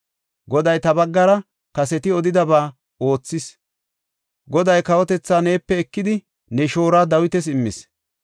Goday ta baggara kaseti odidaba oothis; Goday kawotethaa neepe ekidi, ne shooruwa Dawitas immis.